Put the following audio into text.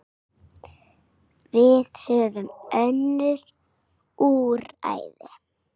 Við höfum önnur úrræði.